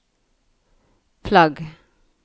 flagg